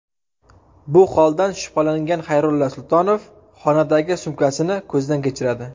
Bu holdan shubhalangan Xayrulla Sultonov xonadagi sumkasini ko‘zdan kechiradi.